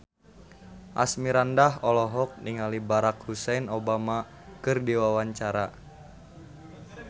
Asmirandah olohok ningali Barack Hussein Obama keur diwawancara